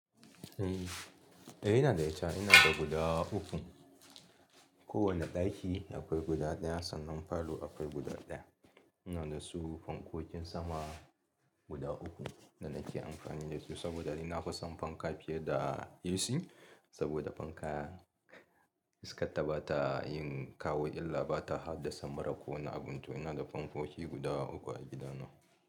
Eh ina da ita, ina da guda uku. Kowane ɗaki akwai guda ɗaya sannan falo akwai guda ɗaya. Ina da su fankokin sama guda uku da nake amfani da su saboda ni na fi son fanka fiye da AC saboda fanka iskar ta bata yin kawo illa bata haddasa mura ko wani abun to ina da fankoki guda uku a gida na.